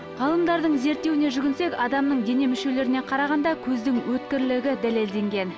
ғалымдардың зерттеуіне жүгінсек адамның дене мүшелеріне қарағанда көздің өткірлігі дәлелденген